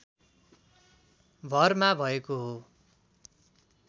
भरमा भएको हो